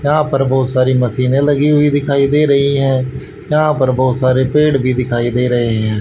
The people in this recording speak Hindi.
यहां पर बहुत सारी मशीने लगी हुई दिखाई दे रही है यहां पर बहुत सारे पेड़ भी दिखाई दे रहे हैं।